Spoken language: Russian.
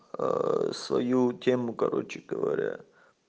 свою тему короче говоря